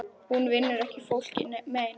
Hún vinnur ekki fólki mein.